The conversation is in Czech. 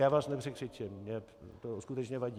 Já vás nepřekřičím, mně to skutečně vadí.